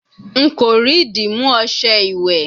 Nko ri dimu ọṣẹ iwẹ